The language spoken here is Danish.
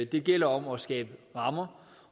det gælder om at skabe rammer